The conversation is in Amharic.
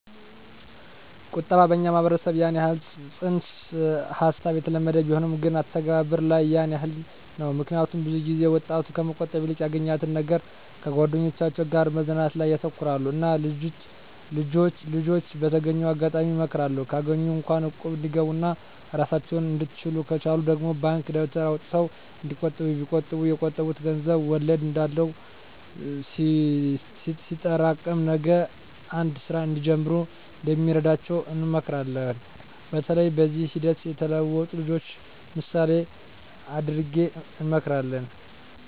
ቁጠባ በኛ ማህበረሰብ ያን የህል ፅንስ ሀሳቡ የተለመደ ቢሆንም ግን አተገባበር ላይ ያን የህል ነው ምክኒያቱም ብዙ ጊዜ ወጣቱ ከመቆጠብ ይልቅ ያገኛትን ነገር ከጓደኞቻቸው ጋር መዝናናት ላይ ያተኩራሉ እና ልጅች በተገኘው አጋጣሚ እመክራለሁ ካገኟት እንኳ እቁብ እንዲገቡ ኦና እራሳቸውን እንድችሉ ከቻሉ ደግሞ ባንክ ደብተር አውጥተው እንዲቆጥቡ ቢቆጥቡ የቆጠቡት ገንዘብ ወለድ እንዳለው ሲጠሬቀም ነገ አንድ ስራ እንዲጀምሩ እንደሚረዳቸው እንመክራለን በተለይ በዚህ ሂደት የተለወጡ ልጅችን ምሳሌ እደረግ እንመክራለን።